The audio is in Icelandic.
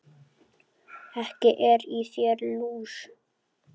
Ekki er í þér lús